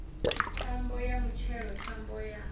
thambo ya mutshelo thambo ya